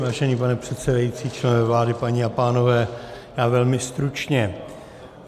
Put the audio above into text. Vážený pane předsedající, členové vlády, paní a pánové, já velmi stručně.